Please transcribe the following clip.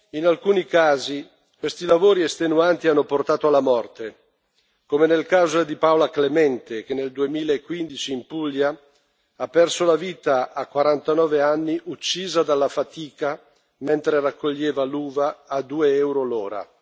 In alcuni casi questi lavori estenuanti hanno portato alla morte, come nel caso di Paola Clemente che nel 2015, in Puglia, ha perso la vita a 49 anni, uccisa dalla fatica mentre raccoglieva l'uva a 2 euro l'ora.